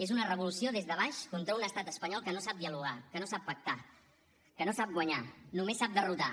és una revolució des de baix contra un estat espanyol que no sap dialogar que no sap pactar que no sap guanyar només sap derrotar